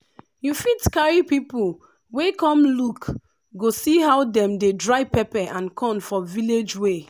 you fit carry people wey come look go see how dem dey dry pepper and corn for village way.